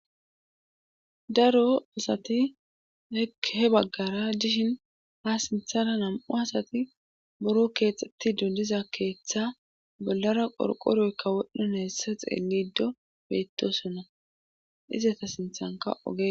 Daro asati he baggara dishin ha sinthana nam'u asati buro keexxetti dundiza keeththa bollara qorqoroykka wodhdhon heessa xeeniddo bettosonna izeta sinthanka oge.